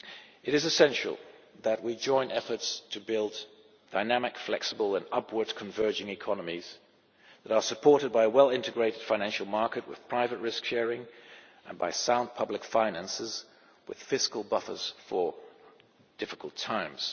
It is essential that we join efforts to build dynamic, flexible and upward converging economies that are supported by a well integrated financial market with private risk sharing and by sound public finances with fiscal buffers for difficult times.